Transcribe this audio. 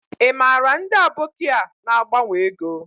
I mara ndi aboki a na agbanwo ego?